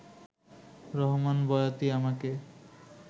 রহমান বয়াতি আমাকে